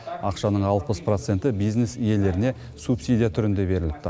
ақшаның алпыс проценті бизнес иелеріне субсидия түрінде беріліпті